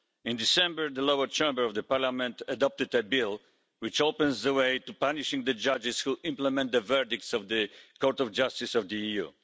In December, the lower chamber of the Parliament adopted a bill which opens the way to punishing the judges who implement the verdicts of the Court of Justice of the EU.